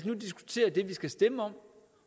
nu diskutere det vi skal stemme om